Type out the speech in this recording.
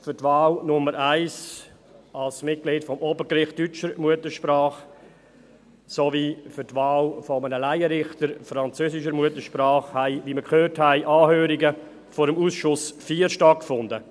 Für die Wahl Nummer 1 als Mitglied des Obergerichts deutscher Muttersprache sowie für die Wahl eines Laienrichters französischer Muttersprache haben, wie wir gehört haben, Anhörungen vor dem Ausschuss IV stattgefunden.